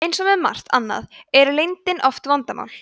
eins og með margt annað er leyndin oft vandamál